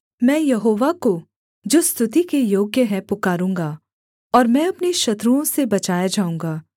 मैं यहोवा को जो स्तुति के योग्य है पुकारूँगा और मैं अपने शत्रुओं से बचाया जाऊँगा